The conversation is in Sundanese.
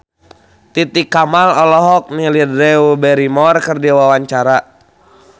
Titi Kamal olohok ningali Drew Barrymore keur diwawancara